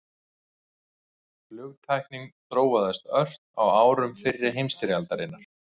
Flugtæknin þróaðist ört á árum fyrri heimsstyrjaldarinnar.